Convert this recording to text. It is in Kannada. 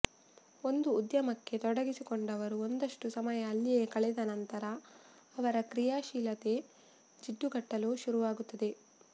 ಒಂದು ಉದ್ಯಮಕ್ಕೆ ತೊಡಗಿಕೊಂಡವರು ಒಂದಷ್ಟು ಸಮಯ ಅಲ್ಲಿಯೇ ಕಳೆದ ನಂತರ ಅವರ ಕ್ರಿಯಾಶೀಲತೆ ಜಿಡ್ಡುಗಟ್ಟಲು ಶುರುವಾಗುತ್ತದೆ